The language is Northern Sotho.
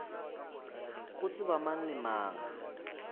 go tseba mang le mang